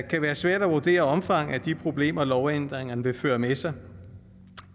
kan være svært at vurdere omfanget af de problemer lovændringerne vil føre med sig